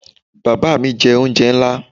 Baba mi jẹ onjẹ nla